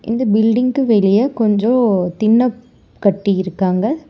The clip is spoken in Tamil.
இந்த பில்டிங்க்கு வெளிய கொஞ்சோ தின்னக் கட்டியிருக்காங்க.